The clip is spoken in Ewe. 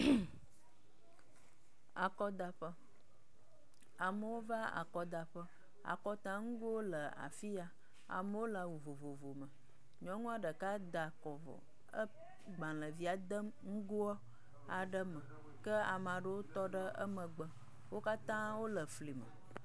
MmmƐ akɔdaƒe, amewo va akɔdaƒe. Akɔdaŋgowo le afi ya. Amewo le awu vovovo me ele akɔdagbalẽvia dem ŋgoa aɖe me ke amewo tɔ ɖe emegbe wo katã wo le fli me.